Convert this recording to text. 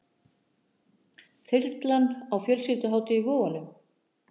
Þyrlan á fjölskylduhátíð í Vogunum